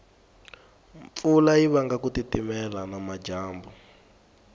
mpfula yivanga kutitimela namajambu